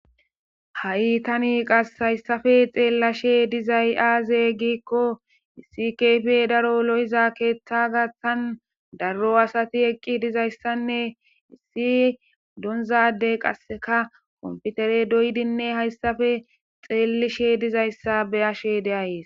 Ha7i tani qas hayssafe xeellashe dizay aaze gikko issi kfi daro lo7iza keeththa gathtan darro asati eqqi dizayssanne issi donzadey qasseka komftere doydinne hayssafe xeellishe dizayssa beyashe deayees.